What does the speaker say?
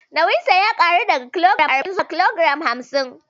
Nauyinsa ya ƙaru daga kilogiram arba'in zuwa kilogiram hamsin